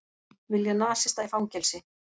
Vilja nasista í fangelsi